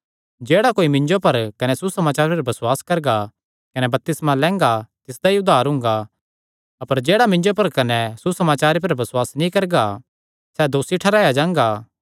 जेह्ड़ा बसुआस करगा कने बपतिस्मा लैंगा तिसदा ई उद्धार हुंगा अपर जेह्ड़ा बसुआस नीं करगा सैह़ दोसी ठैहराया जांगा